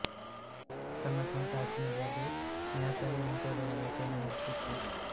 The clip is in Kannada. ತನ್ನ ಸ್ವಂತ ಹಕ್ಕಿನಲ್ಲಿ ಅದು ನ್ಯಾಸವೇ ಮುಂತಾದವುಗಳ ವಿಚಾರಣೆ ನಡೆಸುತ್ತಿತ್ತು